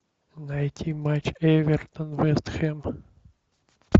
найти матч эвертон вест хэм